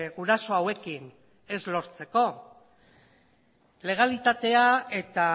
guraso hauekin ez lortzeko legalitatea eta